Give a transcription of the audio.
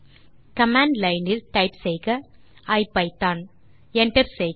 command line இல் type செய்க ஐபிதான் மற்றும் Enter செய்க